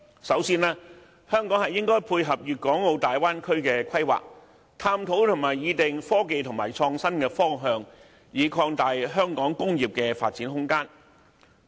首先，香港應配合粵港澳大灣區的規劃，探討和擬定科技和創新方向，以擴大香港工業的發展空間。